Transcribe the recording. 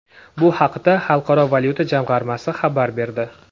Bu haqda Xalqaro valyuta jamg‘armasi xabar berdi .